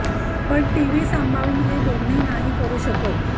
पण टीव्ही सांभाळून हे दोन्ही नाही करू शकत